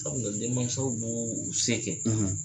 Sabula denmasaw b'u sen kɛ